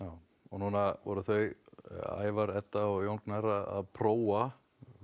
núna voru þau Ævar Edda og Jón Gnarr að prófa